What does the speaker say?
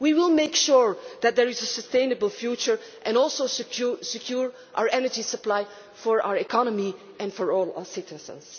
We will make sure that there is a sustainable future and also secure our energy supply for our economy and for all our citizens.